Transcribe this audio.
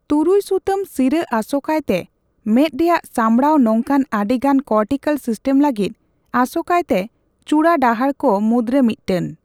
ᱛᱩᱨᱩᱭ ᱥᱩᱛᱟᱹᱢ ᱥᱤᱨᱟᱹ ᱟᱥᱳᱠᱟᱭᱛᱮ ᱢᱮᱫ ᱨᱮᱭᱟᱜ ᱥᱟᱢᱲᱟᱣ ᱱᱚᱝᱠᱟᱱ ᱟᱹᱰᱤᱜᱟᱱ ᱠᱚᱨᱴᱤᱠᱟᱞ ᱥᱤᱥᱴᱮᱢ ᱞᱟᱹᱜᱤᱫ ᱟᱥᱳᱠᱟᱭᱛᱮ ᱪᱩᱲᱟᱹ ᱰᱟᱦᱟᱨ ᱠᱚ ᱢᱩᱫᱨᱮ ᱢᱤᱫᱴᱟᱝ ᱾